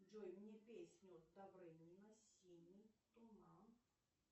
джой мне песню добрынина синий туман